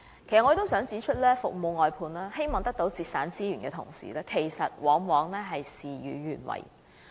其實，我想指出，雖然服務外判是為了節省資源，但往往事與願違。